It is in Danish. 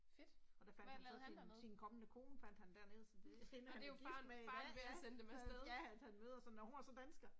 Og der fandt han så sin sin kommende kone fandt han dernede så det hende er han blevet gift med i dag ja, ja at han møder sådan, nåh hun var så dansker